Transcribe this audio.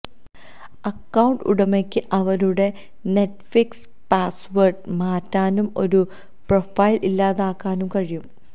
account ഉടമയ്ക്ക് അവരുടെ Netflix password മാറ്റാനും ഒരു പ്രൊഫൈൽ ഇല്ലാതാക്കാനും കഴിയും